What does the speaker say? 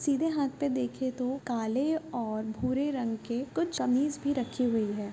सीधे हाथ पर देखे तो काले और भूरे रंग के कुछ कमीज़ भी रखी हुई है।